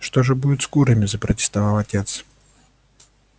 что же будет с курами запротестовал отец